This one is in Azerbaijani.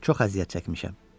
Çox əziyyət çəkmişəm.